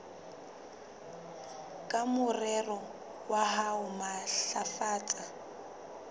ka morero wa ho matlafatsa